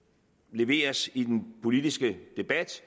leveres i den politiske debat